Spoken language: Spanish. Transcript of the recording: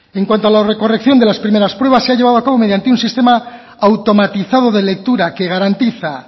en cuanto a la corrección de las primeras pruebas se ha llevado a cabo mediante un sistema automatizado de lectura que garantiza